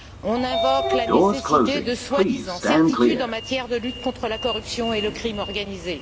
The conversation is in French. On invoque la nécessité de soi disant certitudes en matière de lutte contre la corruption et le crime organisé.